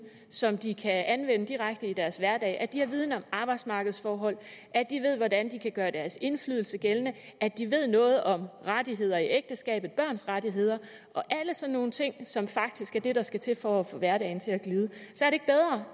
som de kan anvende direkte i deres hverdag at de har viden om arbejdsmarkedsforhold at de ved hvordan de kan gøre deres indflydelse gældende at de ved noget om rettigheder i ægteskabet børns rettigheder og alle sådan nogle ting som faktisk er det der skal til for at få hverdagen til at